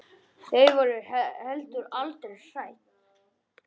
Þau voru heldur aldrei hrædd.